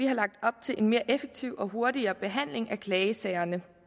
har lagt op til en mere effektiv og hurtigere behandling af klagesagerne